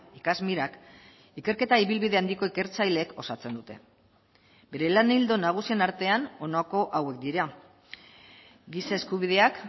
ikasmirak ikerketa ibilbide handiko ikertzaileek osatzen dute bere lan ildo nagusien artean honako hauek dira giza eskubideak